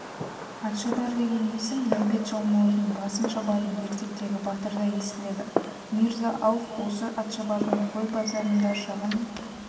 атшабар деген есім нәубет жалмауыздың басын шабатын ертектегі батырдай естіледі мирза-ауф осы атшабардың қой базарында шағын